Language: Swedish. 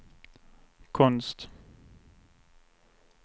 konst